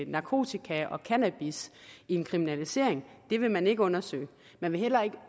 narkotika og cannabis en kriminalisering vil man ikke undersøge man vil heller ikke